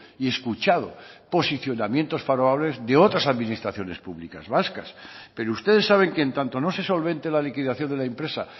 y escuchado posicionamientos favorables de otras administraciones públicas vascas pero ustedes saben que en tanto no se solvente la liquidación de la empresa